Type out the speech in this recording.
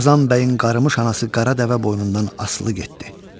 Qazan bəyin qarımış anası qara dəvə boynundan asılı getdi.